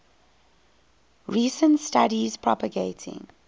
recent studies propagating